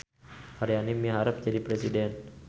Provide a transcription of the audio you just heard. Aryani miharep jadi presiden